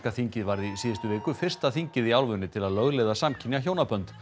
þingið varð í síðustu viku fyrsta þingið í álfunni til þess að lögleiða samkynja hjónabönd